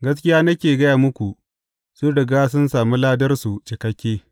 Gaskiya nake gaya muku, sun riga sun sami ladarsu cikakke.